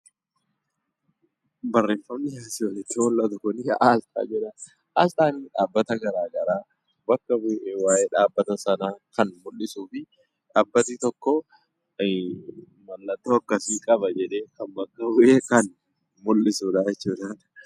Barrreeffamni asi olitti mul'atu kuni Asxaa jedhama. Asxaan dhaabbata garagaraa bakka bu'e waa'ee dhaabbata sanaa Kan muldhisuufi dhaabbatni tokkoo maallattoo akkasi qaba jedhee Kan bakka bu'e kan muldhisuudha jechuudha.